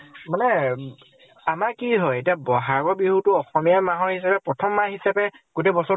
মানে আমাৰ কি হয়, এতিয়া বʼহাগৰ বিহুটো অসমীয়া মাহৰ হিচাপে প্ৰথম মাহ হিচাপে গোটেই